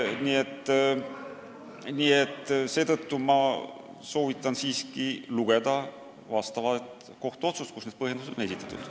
Nii et ma soovitan siiski lugeda kohtuotsust, kus need põhjendused on esitatud.